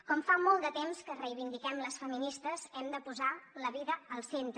com fa molt de temps que reivindiquem les feministes hem de posar la vida al centre